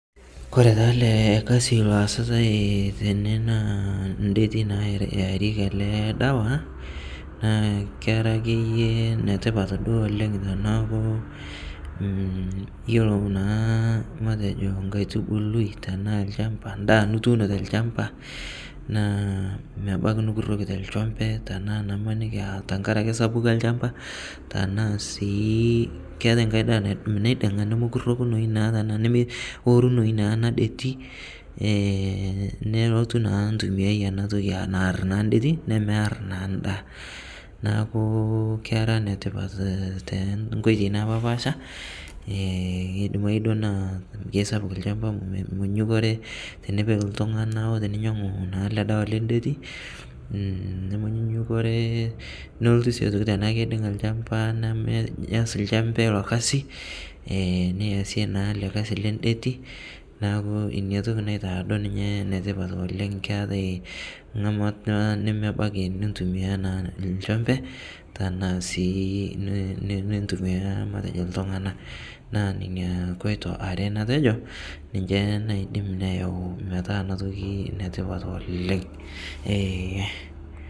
kore taa ale kazi loasitai tenee naa ndetii naa earieki alee dawa naa kera akeye netipat duo oleng tanaaku iyolo naa matejo nkaitubului tanaa lshampa ndaa nutuuno telshampa naa mebaki nukuroki telshompee tanaa imanikii aa sapuko elshampaa tanaa sii keatai nghai daah natuu neaidingaa nomokurokunoyu naa tanaa nomorumuu ana detii nelotuu naa ntumiai ana tokii aa naar naa ndetii nemear naa ndaa naaku kera netipat tenkoitei napaashpasha keidimai duo naa keisapuk lshampaa menyunyukoree tinipik ltungana otiniimu naa ale dawa lendetii nomonyunyukoree iyolo sii tanaaku keidinga lshampa nemeaz lshompe ilo kazi niasie naa ale kazi len ndetii naaku inia toki naitaa duo ninyee netipat oleng keatai ngamata nemebaki nintumia naa lshompee tanaa sii nintumia ltungana naa nenia koito aree natejoo ninshe naidim neyau metaa ana toki netipat oleng eeh